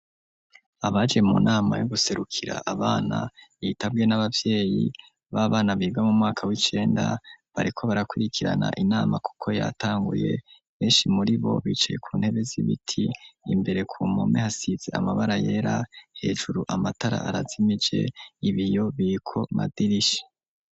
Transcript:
Abaje mu nama, yo guserukira abana, yitabwe, n'abavyeyi b'abana, biga mu mwaka w'icenda; bariko barakwirikirana, inama, kuko yatanguye; benshi muri bo, bicaye ku ntebe, z'ibiti; imbere ku mpome, hasize, amabara yera; hejuru, amatara arazimije, ibiyo, biriko amadirisha.